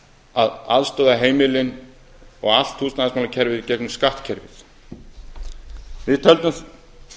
að aðstoða heimilin og allt húsnæðismálakerfið í gegnum skattkerfið við töldum